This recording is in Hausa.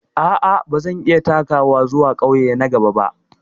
A'a, ba zan iya takawa zuwa ƙauye na gaba ba.